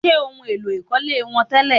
Ṣé ohun èlò ìkọ́lé wọ́n tẹ́lẹ̀?